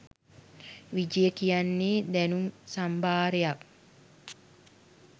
විජය කියන්නේ දැනුම් සම්භාරයක්